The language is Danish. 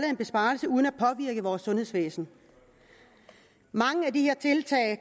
en besparelse uden at påvirke vores sundhedsvæsen mange af de